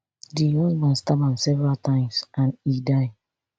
di husband stab am several times and e die